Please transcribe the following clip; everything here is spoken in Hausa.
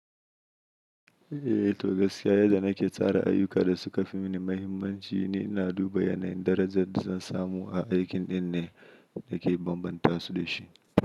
Eh to gaskiya yadda nake tsara ayyukan da suka fi mini muhimmanci ne, ina duba yanayin darajar da zan samu a aikin ɗin ne da ke bambanta su da shi.